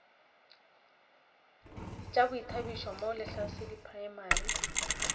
tša boithabišo mo lehlasedi primary